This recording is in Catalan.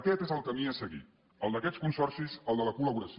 aquest és el camí a seguir el d’aquests consorcis el de la col·laboració